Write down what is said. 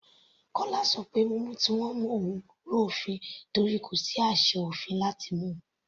Kọla ṣọ pé mímú tí wọ́n mú òun rú òfin torí kò sí àṣẹ òfin láti mú u.